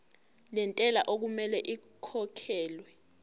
lentela okumele ikhokhekhelwe